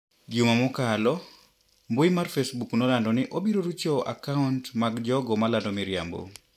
Juma mokalo mbui mar facebook nolando ni obirorucho akaunt mag jogo malando miriambo.